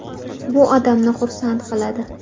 Bu odamni xursand qiladi.